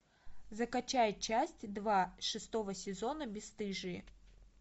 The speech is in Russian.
закачай часть два шестого сезона бесстыжие